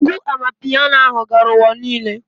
Egwu Amanpiano ahụ gara ụwa niile